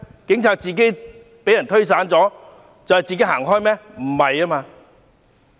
警察陣型被推散後自行離開嗎？